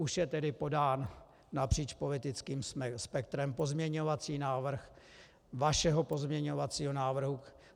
Už je tedy podán napříč politickým spektrem pozměňovací návrh vašeho pozměňovacího návrhu.